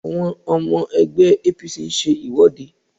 Àwọn ọmọ ẹgbẹ́ APC ń ṣe ìwọ́de